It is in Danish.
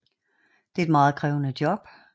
Det er et meget krævende job